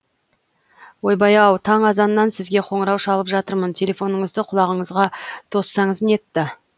ойбай ау таң азаннан сізге қоңырау шалып жатырмын телефоныңызды құлағыңызға тоссаңыз нетті